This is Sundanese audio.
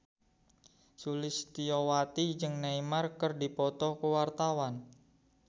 Sulistyowati jeung Neymar keur dipoto ku wartawan